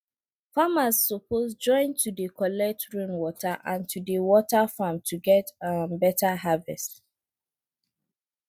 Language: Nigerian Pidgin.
farmers suppose join to dey collect rainwater and to dey water farm to get um better harvest